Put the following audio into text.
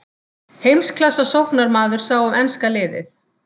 Heimsklassa sóknarmaður sá um enska liðið.